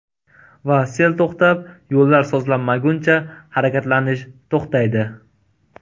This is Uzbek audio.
Va sel to‘xtab, yo‘llar sozlanmaguncha harakatlanish to‘xtaydi.